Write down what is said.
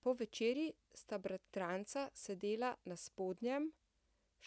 Po večerji sta bratranca sedela na spodnjem,